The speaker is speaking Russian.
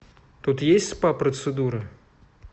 тут есть спа процедуры